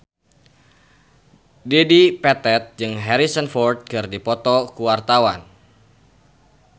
Dedi Petet jeung Harrison Ford keur dipoto ku wartawan